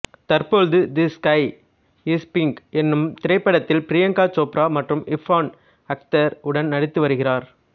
தற்பொழுது the sky is pink என்னும் திரைப்படத்தில் பிரியங்கா சோப்ரா மற்றும் ஃபர்ஹான் அக்தர் உடன் நடித்து வருகிறார்